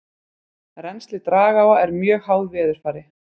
Rennsli dragáa er mjög háð veðurfari.